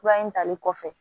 Kura in talen kɔfɛ